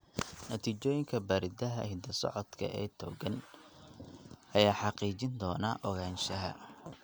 Natiijooyinka baaritaanka hidda-socodka ee togan ayaa xaqiijin doona ogaanshaha.